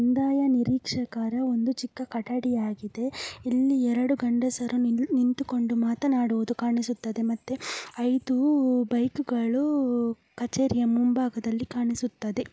ಕಂದಾಯ ನೀರಿಕ್ಷಕರ ಒಂದು ಚಿಕ್ಕ ಕಟ್ಟಡಿ ಆಗಿದೆ. ಇಲ್ಲಿ ಎರಡು ಗಂಡಸರು ನಿಂತುಕೊಂಡು ಮಾತನಾಡುವುದು ಕಾಣಿಸುತದೆ ಮತ್ತೆ ಐದೂ ಬೈಕು ಗಳು ಕಚೇರಿಯ ಮುಂಭಾಗದಲ್ಲಿ ಕಾಣಿಸುತದೆ.